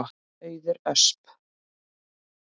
Auður Ösp.